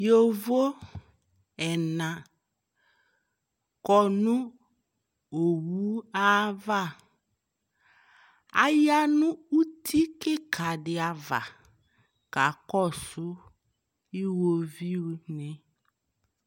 Yovo ɛna kɔ nʋ owu ava Aya nʋ uti kika di ava kakɔsʋ iwoviʋ ni